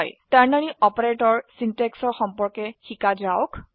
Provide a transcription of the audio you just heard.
ternary operator সিনট্যাক্সৰ সম্পৰ্কে শিকা যাওক